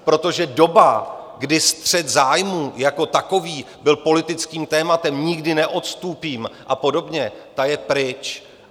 Protože doba, kdy střet zájmů jako takový byl politickým tématem, nikdy neodstúpim a podobně, ta je pryč.